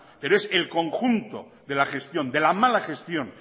pero es el conjunto de la gestión de la mala gestión